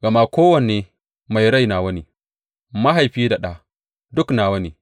Gama kowane mai rai nawa ne, mahaifi da ɗa, duk nawa ne.